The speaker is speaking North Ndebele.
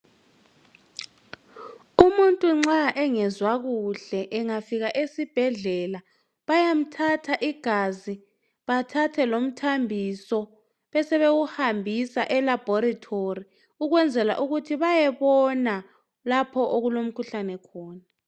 Umuntu nxa engezwa kuhle engafika esibhedlela vayamthatha igazi bathathe lomthambiso besewuhambisa elaboratory ukunzela ukuthi bayobona lapho okulomkhuhlane khona.